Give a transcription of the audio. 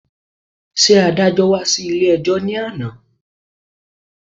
Ṣé adájọ́́ wá sí ilé-ẹjọ́ ní àná